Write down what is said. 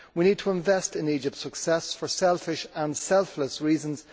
We need to invest in Egypt's success for selfish and selfless reasons.